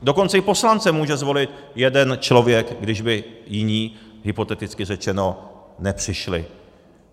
Dokonce i poslance může zvolit jeden člověk, když by jiní, hypoteticky řečeno, nepřišli.